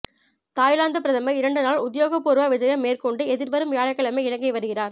Thailand பிரதமர் இரண்டு நாள் உத்தியோகபூர்வ விஜயம் மேற்கொண்டு எதிர்வரும் வியாழக்கிழமை இலங்கை வருகிறார்